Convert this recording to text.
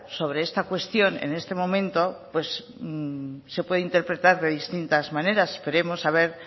sobre esta cuestión en este momento se puede interpretar de distintas maneras esperemos a ver